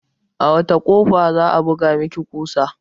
A wacce kofa za'a buga maki kusa?